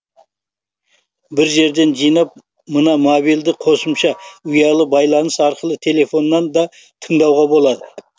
бір жерден жинап мына мобильді қосымша ұялы байланыс арқылы телефоннан да тыңдауға болады